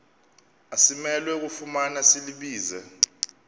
asimelwe kufumana silibize